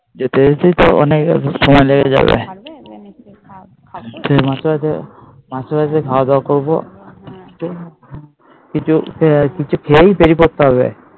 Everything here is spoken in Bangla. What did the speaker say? যেতে যেতে অনেক সময় লেগে যাবে মাসির বাড়িতে খাওয়া দাওয়া করবো কিছু কিছু খেয়েই বেরিয়ে পড়তে হবে।